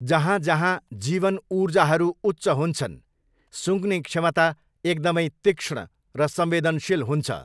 जहाँजहाँ जीवन ऊर्जाहरू उच्च हुन्छन् सुँघ्ने क्षमता एकदमै तीक्ष्ण र संवेदनशील हुन्छ।